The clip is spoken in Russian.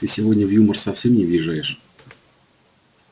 ты сегодня в юмор совсем не въезжаешь